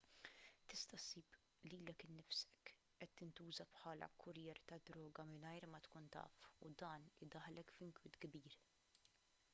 tista' ssib lilek innifsek qed tintuża bħala kurrier tad-drogi mingħajr ma tkun taf u dan idaħħlek f'inkwiet kbir